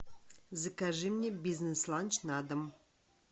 закажи мне бизнес ланч на дом